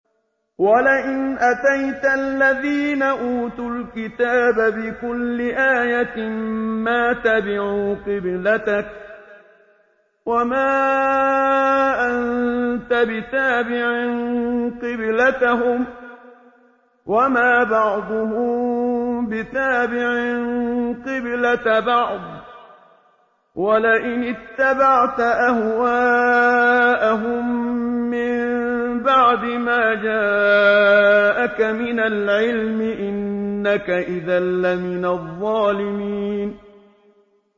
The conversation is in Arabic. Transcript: وَلَئِنْ أَتَيْتَ الَّذِينَ أُوتُوا الْكِتَابَ بِكُلِّ آيَةٍ مَّا تَبِعُوا قِبْلَتَكَ ۚ وَمَا أَنتَ بِتَابِعٍ قِبْلَتَهُمْ ۚ وَمَا بَعْضُهُم بِتَابِعٍ قِبْلَةَ بَعْضٍ ۚ وَلَئِنِ اتَّبَعْتَ أَهْوَاءَهُم مِّن بَعْدِ مَا جَاءَكَ مِنَ الْعِلْمِ ۙ إِنَّكَ إِذًا لَّمِنَ الظَّالِمِينَ